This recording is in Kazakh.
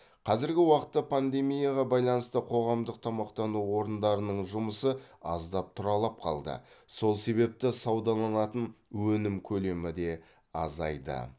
қазіргі уақытта пандемияға байланысты қоғамдық тамақтану орындарының жұмысы аздап тұралап қалды сол себепті саудаланатын өнім көлемі де азайды